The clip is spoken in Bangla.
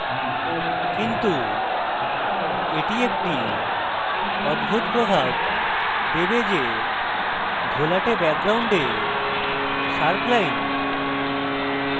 কিন্তু এটি একটি অদ্ভুত প্রভাব দেবে যে ঘোলাটে background sharp line